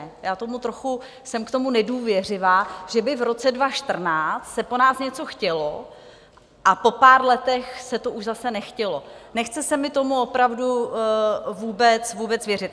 Já jsem k tomu trochu nedůvěřivá, že by v roce 2014 se po nás něco chtělo a po pár letech se to už zase nechtělo, nechce se mi tomu opravdu vůbec věřit.